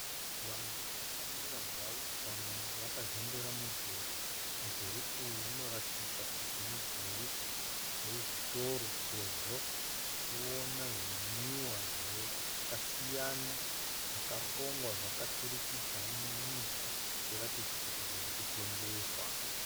Vanhu vakamira zvavo vamwe vakazembera mudhuri. Mudhuri uyu unoratidza kuti mudhuri wezvitoro sezvo tichiona zvimwiwa zvakasiyana zvakarongwa zvakaturikidzaniswa zvichiratidza kuti zvirikutengeswa.